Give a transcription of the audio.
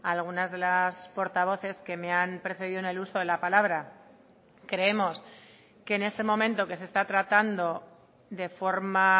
algunas de las portavoces que me han precedido en el uso de la palabra creemos que en este momento que se está tratando de forma